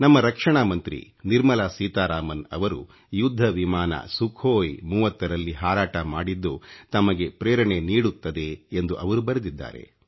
ನಮ್ಮ ರಕ್ಷಣಾ ಮಂತ್ರಿ ನಿರ್ಮಲಾ ಸೀತಾರಾಮನ್ ಅವರು ಯುದ್ಧ ವಿಮಾನ ಸುಖೋಯ್ 30 ರಲ್ಲಿ ಹಾರಾಟ ಮಾಡಿದ್ದು ತಮಗೆ ಪ್ರೇರಣೆ ನೀಡುತ್ತದೆ ಎಂದು ಅವರು ಬರೆದಿದ್ದಾರೆ